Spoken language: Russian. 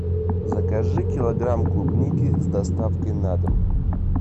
закажи килограмм клубники с доставкой на дом